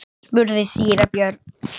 spurði síra Björn.